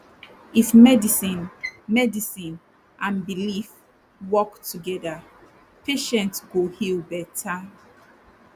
if medicine medicine and belief work together patient go heal better